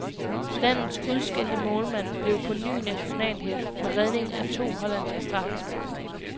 Landets udskældte målmand blev på ny nationalhelt med redning af to hollandske straffespark.